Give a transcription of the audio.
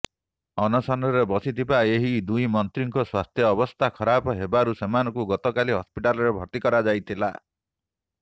ଅନଶନରେ ବସିଥିବା ଏହି ଦୁଇମନ୍ତ୍ରୀଙ୍କ ସ୍ୱାସ୍ଥ୍ୟାବସ୍ଥା ଖରାପ ହେବାରୁ ସେମାନଙ୍କୁ ଗତକାଲି ହସ୍ପିଟାଲରେ ଭର୍ତ୍ତି କରାଯାଇଥିଲା